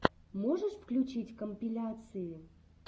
можешь включить компиляции